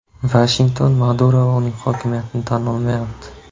Vashington Maduro va uning hokimiyatini tan olmayapti.